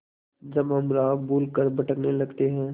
जब हम राह भूल कर भटकने लगते हैं